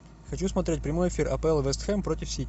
хочу смотреть прямой эфир апл вест хэм против сити